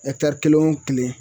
kelen o kelen